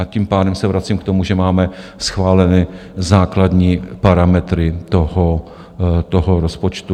A tím pádem se vracím k tomu, že máme schváleny základní parametry toho rozpočtu.